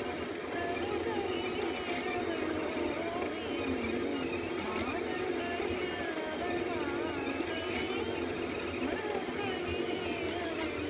கலைகளிலே அவள் ஓவியம் மாதங்களில் அவள் மார்கழி மலர்களிலே அவள்